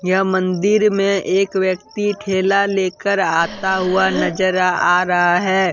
यह मंदिर में एक व्यक्ति ठेला लेकर आता हुआ नजर आ रहा है।